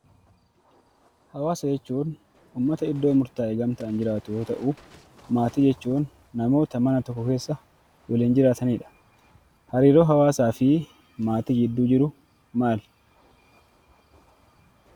Hawaasa jechuun ummata iddoo murtaa'e gamtaan jiraatu yoo ta'u maatii jechuun namoota mana tokko keessa waliin jiraatu jechuudha. hariiroon hawaasa fi maatii gidduu jiru maali?